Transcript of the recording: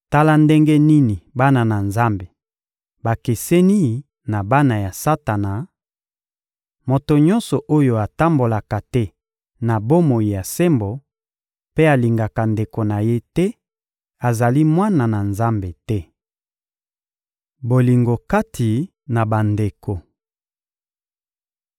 Tala ndenge nini bana na Nzambe bakeseni na bana ya Satana: moto nyonso oyo atambolaka te na bomoi ya sembo mpe alingaka ndeko na ye te azali mwana na Nzambe te. Bolingo kati na bandeko